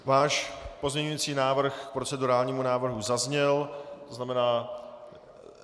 Váš pozměňovací návrh k procedurálnímu návrhu zazněl, to znamená...